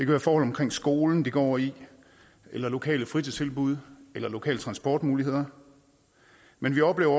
være forhold omkring skolen de går i eller lokale fritidstilbud eller lokale transportmuligheder men vi oplever